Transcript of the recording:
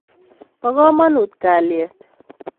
Po kamonut kalyet